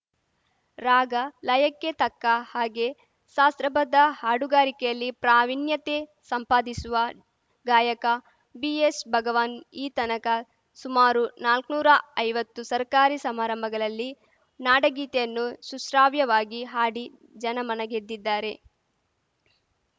ರಾಗಲಯಕ್ಕೆ ತಕ್ಕಹಾಗೆ ಶಾಸ್ತ್ರಬದ್ಧ ಹಾಡುಗಾರಿಕೆಯಲ್ಲಿ ಪ್ರಾವಿಣ್ಯತೆ ಸಂಪಾದಿಸಿವ ಗಾಯಕ ಬಿಎಸ್‌ಭಗವಾನ್‌ ಈ ತನಕ ಸುಮಾರು ನಾಲ್ಕ್ ನೂರಾ ಐವತ್ತು ಸರ್ಕಾರಿ ಸಮಾರಂಭಗಳಲ್ಲಿ ನಾಡಗೀತೆಯನ್ನು ಸುಶ್ರಾವ್ಯವಾಗಿ ಹಾಡಿ ಜನಮನ ಗೆದ್ದಿದ್ದಾರೆ